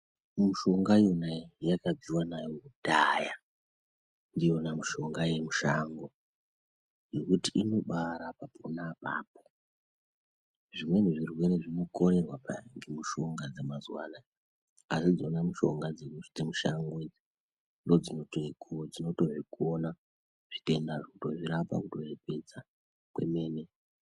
Mushonga yona iyi yakabviwa nayo kudhara ndiyona mishonga ye mushango ngekuti inobai rapa pona apapo zvimweni zvirwere zvino korerwa peya nge mishonga dze ma zuva anaya asi idzona dze mushango ndo dzinotozvi kona zvitenda zvo kuto rapa kuto pedza kwemene.